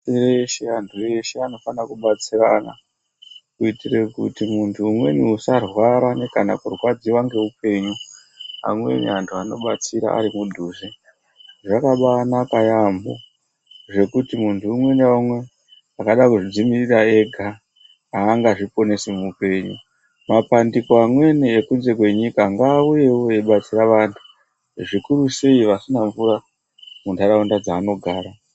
Antu eshe anofanira kubatsirana kuitire kuti muntu umweni usarwara kana kurwadziwa ngeupenyu amweni antu anobatsira arimudhuze zvakabaanaka yaambo zvekuti muntu umwe naumwe akada kudzimirira ega haangadziponesi muupenyu mapandiko amweni ekunze kwenyika ngaauyewo eibatsira vantu zvikurusei vasina mvura mundaraunda dzaanogara.